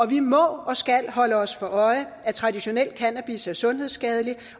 vi må og skal holde os for øje at traditionel cannabis er sundhedsskadelig